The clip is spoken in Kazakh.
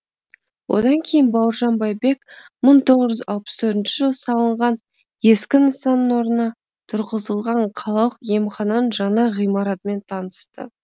одан кейін бауыржан байбек мың тоғыз жүз алпыс төртінші жылы салынған ескі нысанның орнына тұрғызылған қалалық емхананың жаңа ғимаратымен танысты